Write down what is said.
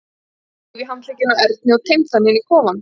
Hann þreif í handlegginn á Erni og teymdi hann inn í kofann.